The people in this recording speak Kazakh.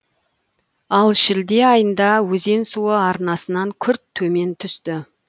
ал шілде айында өзен суы арнасынан күрт төмен түсті